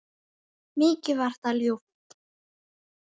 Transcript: Mikið var það ljúft.